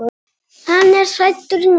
Hann var hræddur núna.